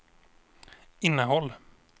innehåll